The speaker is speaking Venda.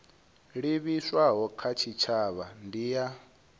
livhiswaho kha tshitshavha ndi ya